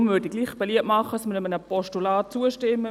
Deshalb würde ich beliebt machen, einem Postulat zuzustimmen.